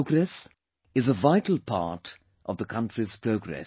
Your progress is a vital part of the country's progress